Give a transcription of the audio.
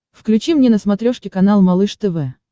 включи мне на смотрешке канал малыш тв